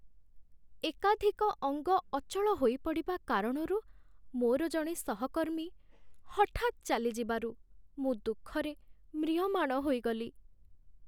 ଏକାଧିକ ଅଙ୍ଗ ଅଚଳ ହୋଇପଡ଼ିବା କାରଣରୁ ମୋର ଜଣେ ସହକର୍ମୀ ହଠାତ୍ ଚାଲିଯିବାରୁ ମୁଁ ଦୁଃଖରେ ମ୍ରିୟମାଣ ହୋଇଗଲି।